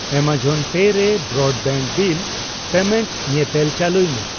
Amazon pay ᱨᱮ broadband bill payment ᱧᱮᱛᱮᱞ ᱪᱟᱹᱞᱩᱭ ᱢᱮ ᱾